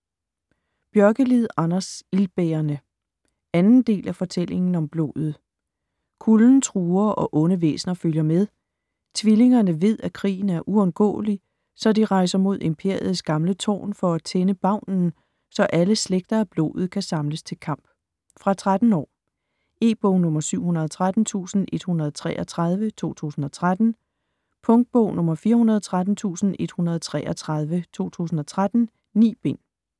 Björkelid, Anders: Ildbærerne 2. del af Fortællingen om blodet. Kulden truer og onde væsner følger med. Tvillingerne ved at krigen er uundgåelig så de rejser mod Imperiets gamle tårn for at tænde Bavnen, så alle slægter af blodet kan samles til kamp. Fra 13 år. E-bog 713133 2013. Punktbog 413133 2013. 9 bind.